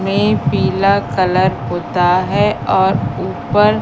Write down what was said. में पीला कलर होता है और ऊपर--